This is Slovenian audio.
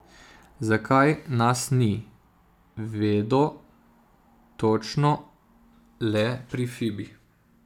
Zakaj nas ni, vedo točno le pri Fibi.